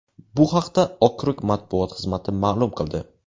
Bu haqda okrug matbuot xizmati ma’lum qildi.